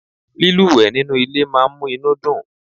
lílúwèé nínú ilé máa n mú inú dùn